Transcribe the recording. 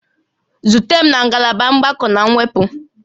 Zute m na ngalaba mgbakọ na mwepụ